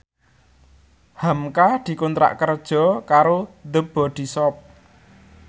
hamka dikontrak kerja karo The Body Shop